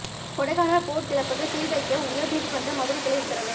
Kodaikanal boat கிளப்புக்கு சீல் வைக்க உயர் நீதிமன்ற மதுரைக் கிளை உத்தரவு